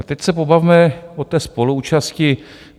A teď se pobavme o té spoluúčasti.